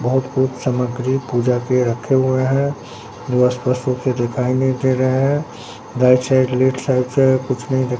बहुत कुछ समग्री पूजा के रखे हुए हैं स्पष्ट रूप से दिखाई नहीं दे रहे है राइट साइड लेफ्ट साइड से कुछ नहीं दे --